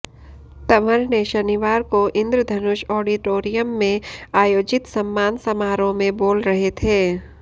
तंवर ने शनिवार को इन्द्रधनुष ऑडिटोरियम में आयोजित सम्मान समारोह में बोल रहे थे